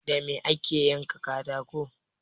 Da me ake yanka katako?